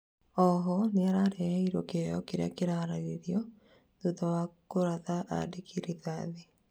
oho nĩaraheirwo kĩoho kĩria kĩrararĩirio thutha wa kũratha andĩki rithathi